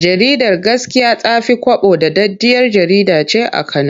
Jaridar Gaskiya ta fi kwabo daɗaɗɗiyar jkjarida ce a Kano.